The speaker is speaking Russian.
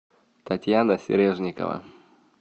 татьяна сережникова